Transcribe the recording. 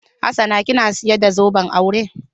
Hassana kina sayar da zoben aure?